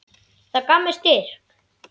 Það gaf mér styrk.